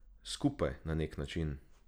Skupaj, na neki način.